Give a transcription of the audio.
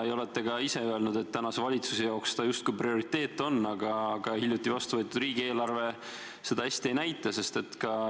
Te olete öelnud, et ka valitsuse jaoks on see justkui prioriteet, aga hiljuti vastuvõetud riigieelarve seda hästi ei näita.